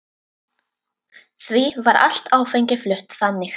Því var allt áfengi flutt þannig.